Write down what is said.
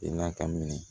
I n'a ka minɛ